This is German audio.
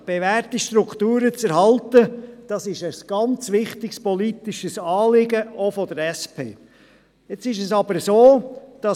Der Erhalt bewährter Strukturen ist ein sehr wichtiges politisches Anliegen, auch für die SP-JUSO-PSA-Fraktion.